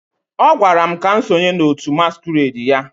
ọ gwara m ka m sonye n'òtù masquerade ya